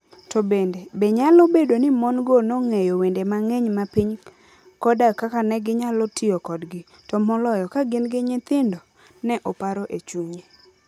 To bende, be nyalo bedo ni mon - go nong'eyo wende mang'eny mag piny koda kaka ne ginyalo tiyo kodgi, to moloyo ka gin gi nyithindo? Ne oparo e chunye.